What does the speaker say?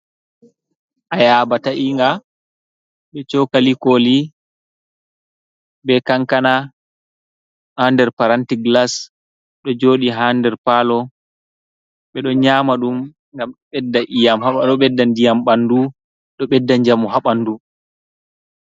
Ayaba ta'inga, be cokali koli, be kankana haa nder paranti glas ɗo jooɗi haa nder paalo. Ɓe ɗo nyama ɗum, ngam ɗo bedda ndiyam ɓandu, ɗo ɓedda njamu haa ɓandu.